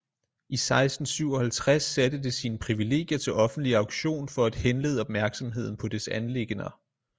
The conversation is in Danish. I 1657 satte det sine privilegier til offentlig auktion for at henlede opmærksomheden på dets anliggender